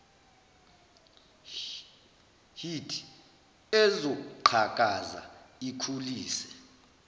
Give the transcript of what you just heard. hlt ezoqhakaza ikhulise